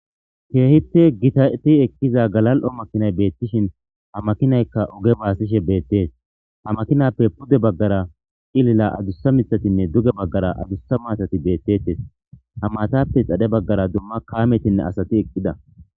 keehiti gitati ekkiza galal7o makinay beettishin ha makinaykka oge baasishe beettees ha makinappe pude baggara xilila adussa mitatinne duge baggara adussa maatati beettettes ha maatappe xadhe baggara dumma kaametinne asati eqqida